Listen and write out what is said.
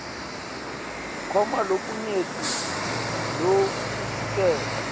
kukhona lokunyenti lokusilele